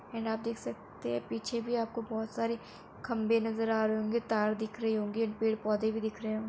and आप देख सकते हैं पीछे भी आपको बहोत सारे खंभे नज़र आ रहे होंगे तार दिख रही होंगे पेड़ पौधे भी दिख रहे हों --